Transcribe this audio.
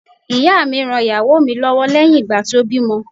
Ìyá mi ran ìyàwó mi lọ́wọ́ lẹ́yìn ìgbà tí ó bí ọmọ.